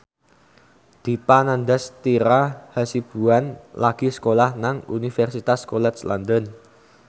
Dipa Nandastyra Hasibuan lagi sekolah nang Universitas College London